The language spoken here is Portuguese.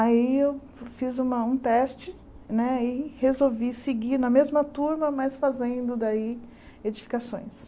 Aí eu fiz uma um teste né e resolvi seguir na mesma turma, mas fazendo daí edificações.